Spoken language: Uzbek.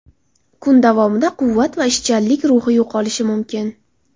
Kun davomida quvvat va ishchanlik ruhi yo‘qolishi mumkin.